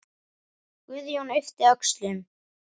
Guðjón yppti öxlum.